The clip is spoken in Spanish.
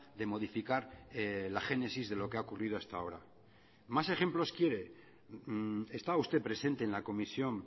de modificar la génesis de lo que ha ocurrido hasta ahora más ejemplos quiere está usted presente en la comisión